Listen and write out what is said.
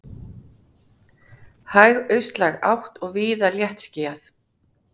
Hæg austlæg átt og víða léttskýjað